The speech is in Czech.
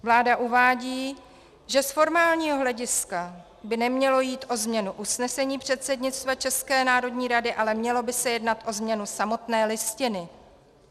Vláda uvádí, že z formálního hlediska by nemělo jít o změnu usnesení předsednictva České národní rady, ale mělo by se jednat o změnu samotné Listiny.